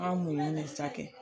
An m'o minɛ sa kɛ